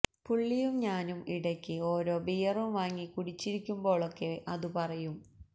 പുള്ളിയും ഞാനും ഇടക്ക് ഓരോ ബിയറും വാങ്ങി കുടിച്ചിരിക്കുമ്പോളൊക്കെ അതു പറയും